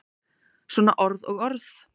Svona orð og orð.